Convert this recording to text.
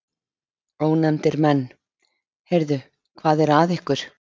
Ónefndir menn: Heyrðu, hvað er að ykkur?